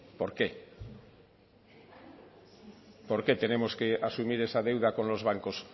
por qué por qué tenemos que asumir esa deuda con los bancos